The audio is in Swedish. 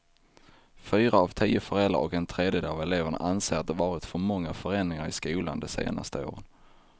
Fyra av tio föräldrar och en tredjedel av eleverna anser att det varit för många förändringar i skolan de senaste åren.